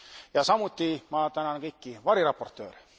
Ja samuti ma tänan kõiki variraportööre.